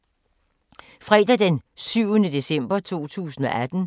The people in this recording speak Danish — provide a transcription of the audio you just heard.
Fredag d. 7. december 2018